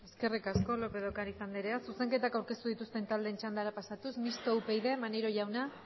eskerrik asko lópez de ocariz anderea zuzenketak aurkeztu dituzten taldeen txandara pasatuz mistoa upyd maneiro jauna